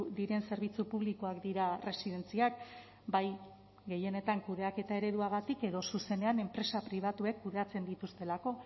diren zerbitzu publikoak dira erresidentziak bai gehienetan kudeaketa ereduagatik edo zuzenean enpresa pribatuek kudeatzen dituztelako